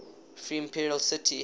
free imperial city